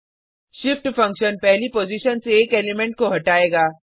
shift function पहली position से एक एलिमेंट को हटायेगा